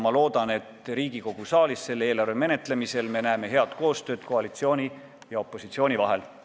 Loodan, et näeme Riigikogu saalis eelarve menetlemisel head koostööd koalitsiooni ja opositsiooni vahel.